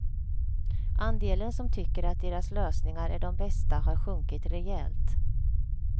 Andelen som tycker att deras lösningar är de bästa har sjunkit rejält.